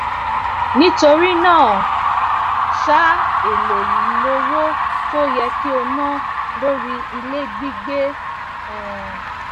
àtúnyẹwò iṣẹ ṣíṣe ọdọọdún ti iléiṣẹ náà yọrísí ẹbù fún àwọon òṣìṣẹ t n ṣe dáadáda